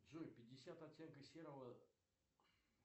джой пятьдесят оттенков серого